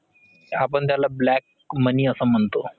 आपण त्याला black money अस म्हणतो.